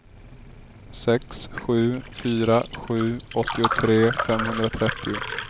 sex sju fyra sju åttiotre femhundratrettio